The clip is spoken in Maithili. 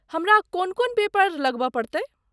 हमरा कोन कोन पेपर लगबय पड़तै ?